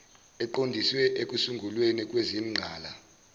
eziqondiswe ekusungulweni kwezingqala